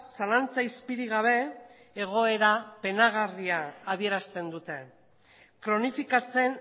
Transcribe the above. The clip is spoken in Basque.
zalantza izpirik gabe egoera penagarria adierazten dute kronifikatzen